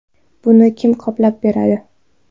Buni kim qoplab beradi?